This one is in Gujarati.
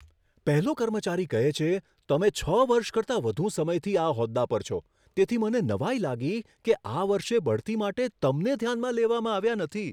પહેલો કર્મચારી કહે છે, તમે છ વર્ષ કરતાં વધુ સમયથી આ હોદ્દા પર છો, તેથી મને નવાઈ લાગી કે આ વર્ષે બઢતી માટે તમને ધ્યાનમાં લેવામાં આવ્યા નથી.